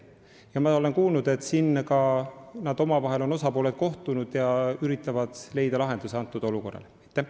Ma olen kuulnud, et osapooled on omavahel kohtunud ja üritavad leida sellele olukorrale lahendusi.